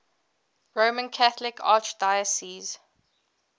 roman catholic archdiocese